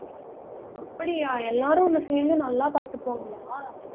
அப்படியா எல்லாரும் உன்னை சேர்ந்து நல்லா பார்த்துக்குவாங்களா